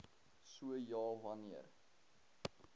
so ja wanneer